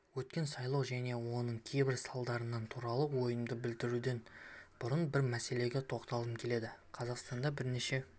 өткен сайлау және оның кейбір салдарлары туралы ойымды білдіруден бұрын бір мәселеге тоқталғым келеді қазақстанда бірнеше